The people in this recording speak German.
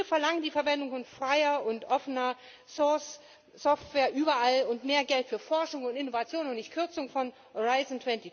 Wir verlangen die Verwendung von freier und quelloffener Software überall und mehr Geld für Forschung und Innovation und nicht Kürzung von Horizont